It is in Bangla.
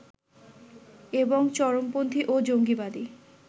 এবং চরমপন্থী ও জঙ্গিবাদী